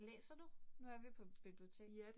Læser du? Nu er vi på bibliotek